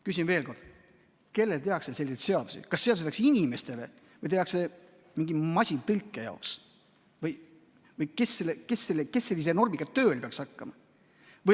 Küsin veel kord: kellele tehakse selliseid seadusi, kas seadusi tehakse inimestele või tehakse neid mingi masintõlke jaoks või kes sellise normiga tööle peaks hakkama?